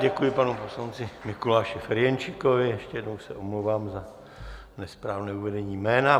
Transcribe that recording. Děkuji panu poslanci Mikuláši Ferjenčíkovi, ještě jednou se omlouvám za nesprávné uvedení jména.